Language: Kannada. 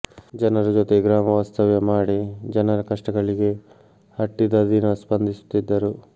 ಜನರ ಜೊತೆ ಗ್ರಾಮ ವಾಸ್ತವ್ಯ ಮಾಡಿ ಜನರ ಕಷ್ಟಗಳಿಗೆ ಹಟ್ಟಿದ ದಿನ ಸ್ಪಂದಿಸುತ್ತಿದ್ದರು